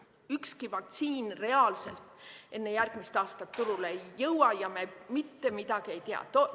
Ükski vaktsiin reaalselt enne järgmist aastat turule ei jõua ja me mitte midagi ei tea.